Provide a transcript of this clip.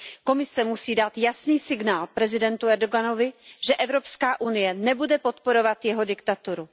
Komise musí dát jasný signál prezidentu Erdoganovi, že Evropská unie nebude podporovat jeho diktaturu.